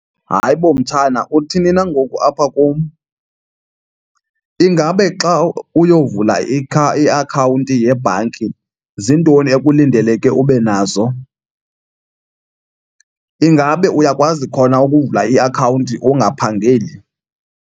Hayibo, mtshana, uthini na ngoku apha kum? Ingabe xa uyovula iakhawunti yebhanki ziintoni ekulindeleke ube nazo? Ingabe uyakwazi khona ukuvula iakhawunti ungaphangeli?